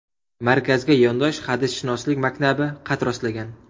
Markazga yondosh hadisshunoslik maktabi qad rostlagan.